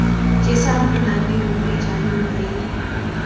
jesang monate ruri jaanong re